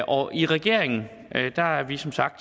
og i regeringen er vi som sagt